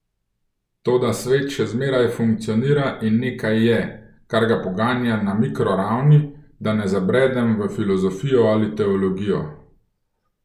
Toda svet še zmeraj funkcionira in nekaj je, kar ga poganja na mikroravni, da ne zabredem v filozofijo ali teologijo.